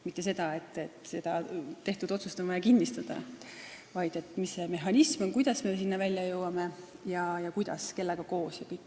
Mitte nii, et tehtud otsus on vaja kinnistada, vaid tuleb vaadata, mis see mehhanism on, kuidas ja kellega koos me sinna välja jõuame.